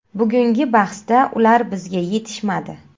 Bugungi bahsda ular bizga yetishmadi.